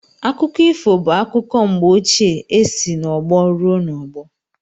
Akụkọ ifo bụ akụkọ mgbe ochie e si n’ọgbọ ruo n'ọgbọ